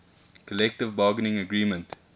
collective bargaining agreement